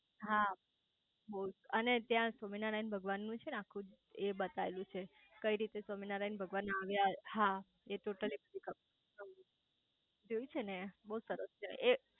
હા બઉ અને ત્યાં સ્વામિનારાયણ ભગવાનું છે ને આખું એ બધું બતાયું છે કઈ રીતે સ્વામિનારાયણ ભગવાન આયા હા એ ટોટલ લઈ જોયું છે ને બઉ સરસ છે એ